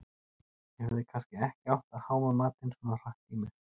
Ég hefði kannski ekki átt að háma matinn svona hratt í mig